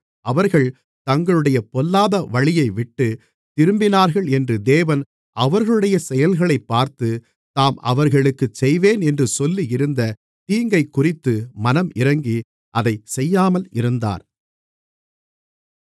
அவர்கள் தங்களுடைய பொல்லாத வழியைவிட்டுத் திரும்பினார்களென்று தேவன் அவர்களுடைய செயல்களைப்பார்த்து தாம் அவர்களுக்குச் செய்வேன் என்று சொல்லியிருந்த தீங்கைக்குறித்து மனமிரங்கி அதைச் செய்யாமல் இருந்தார்